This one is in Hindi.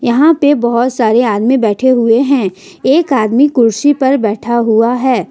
यहां पे बहोत सारे आदमी बैठे हुए हैं एक आदमी कुर्सी पर बैठा हुआ है।